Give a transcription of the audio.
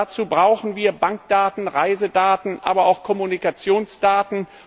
Dazu brauchen wir Bankdaten, Reisedaten, aber auch Kommunikationsdaten.